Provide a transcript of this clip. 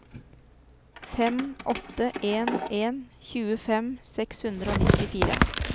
fem åtte en en tjuefem seks hundre og nittifire